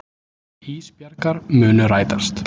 Ísbjargar munu rætast.